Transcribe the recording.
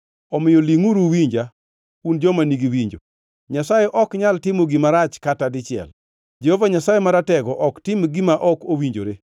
“Omiyo lingʼuru uwinja, un joma nigi winjo. Nyasaye ok nyal timo gima rach kata dichiel, Jehova Nyasaye Maratego ok tim gima ok owinjore.